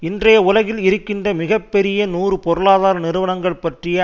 இன்றைய உலகில் இருக்கின்ற மிக பெரிய நூறு பொருளாதார நிறுவனங்கள் பற்றிய